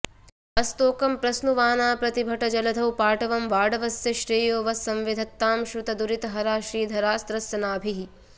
अस्तोकं प्रस्नुवाना प्रतिभटजलधौ पाटवं वाडवस्य श्रेयो वस्संविधत्तां श्रितदुरितहरा श्रीधरास्त्रस्य नाभिः